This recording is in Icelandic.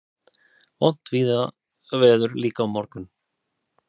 Vont veður líka á morgun